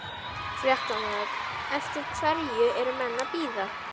Fréttamaður: Eftir hverju eru menn að bíða?